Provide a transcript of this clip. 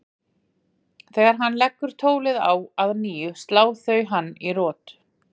Þegar hann leggur tólið á að nýju slá þau hann í rot.